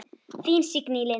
Þín, Signý Lind.